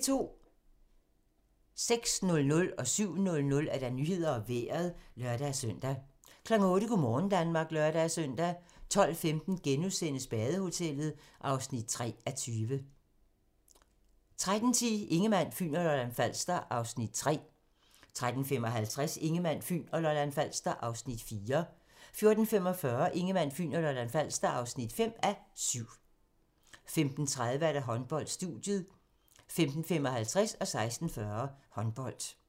06:00: Nyhederne og Vejret (lør-søn) 07:00: Nyhederne og Vejret (lør-søn) 08:00: Go' morgen Danmark (lør-søn) 12:15: Badehotellet (3:20)* 13:10: Ingemann, Fyn og Lolland-Falster (3:7) 13:55: Ingemann, Fyn og Lolland-Falster (4:7) 14:45: Ingemann, Fyn og Lolland-Falster (5:7) 15:30: Håndbold: Studiet 15:55: Håndbold 16:40: Håndbold